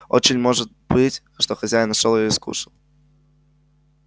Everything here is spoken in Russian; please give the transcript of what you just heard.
очень может быть что хозяин нашёл её и скушал